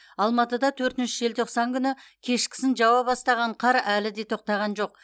алматыда төртінші желтоқсан күні кешкісін жауа бастаған қар әлі де тоқтаған жоқ